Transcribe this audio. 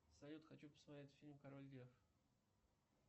салют хочу посмотреть фильм король лев